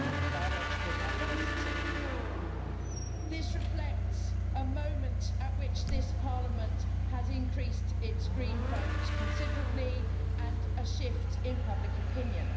Biological Diversity. This reflects a moment at which this Parliament has increased its green vote considerably and a shift in public opinion.